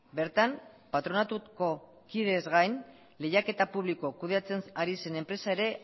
bertan patronatuko kidez gain lehiaketa publiko kudeatzen ari zen enpresa ere